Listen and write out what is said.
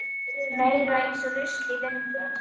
Meira eins og rusl í vindi.